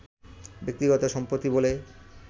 ব্যক্তিগত সম্পত্তি বলে